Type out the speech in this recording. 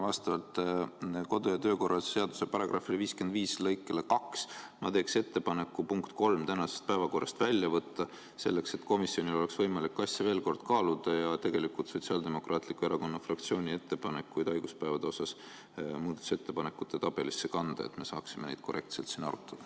Vastavalt kodu- ja töökorra seaduse § 55 lõikele 2 ma teen ettepaneku punkt 3 tänasest päevakorrast välja võtta, selleks et komisjonil oleks võimalik asja veel kord kaaluda ja tegelikult Sotsiaaldemokraatliku Erakonna fraktsiooni ettepanekud haiguspäevade kohta muudatusettepanekute tabelisse kanda, et me saaksime neid korrektselt siin arutada.